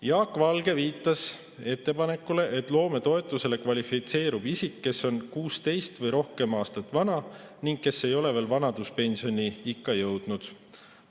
Jaak Valge viitas ettepanekule, et loometoetusele kvalifitseerub isik, kes on 16 aastat vana või vanem ning kes ei ole veel vanaduspensioniikka jõudnud.